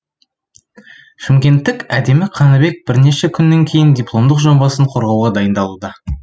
шымкенттік әдемі қаныбек бірнеше күннен кейін дипломдық жобасын қорғауға дайындалуда